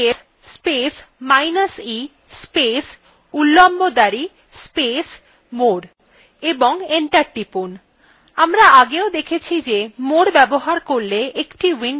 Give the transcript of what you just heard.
ps space minus e space উল্লম্ব দাঁড়ি space more এবং enter টিপুন